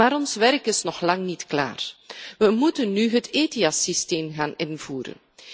Maar ons werk is nog lang niet klaar. We moeten nu het ETIAS systeem gaan invoeren.